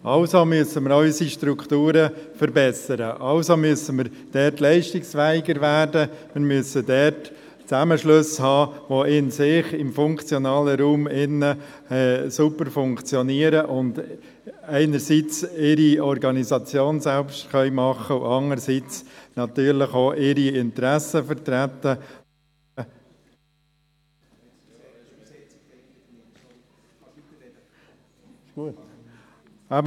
Also müssen wir auch unsere Strukturen verbessern, also müssen wir dort leistungsfähiger werden und müssen dort Zusammenschlüsse haben, die in sich, im funktionalen Raum drin, sauber funktionieren und einerseits ihre Organisation selber machen und andererseits natürlich auch ihre Interessen vertreten können.